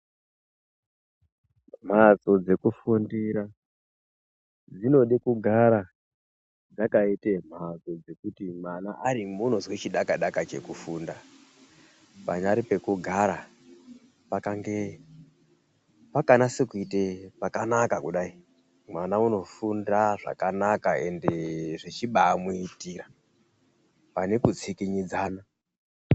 Mbatso dzekufundira dzinode kugara dzakaita mbatso ana arimwo anozwa chidaka daka chekufunda panyari pekugara pakange pakanasa kuikaite pakanaka kudai mwana anofunda zvakanaka ende zvichaba muitira pane kusvikinyidzana.